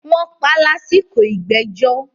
wọ́n pa á lásìkò “ ìgbẹ́jọ́”.